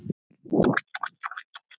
Svo kvaddir þú.